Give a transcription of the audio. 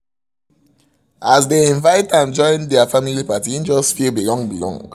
as dem invite am join der family party he just feel belong belong